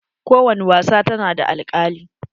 Ko wani wasa ta na da alkali.